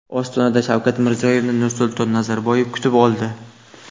Ostonada Shavkat Mirziyoyevni Nursulton Nazarboyev kutib oldi.